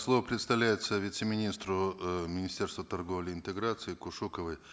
слово предоставляется вице министру э министерства торговли и интеграции кушуковой